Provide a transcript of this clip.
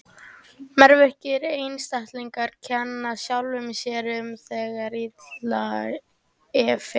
Meðvirkir einstaklingar kenna sjálfum sér um þegar illa fer.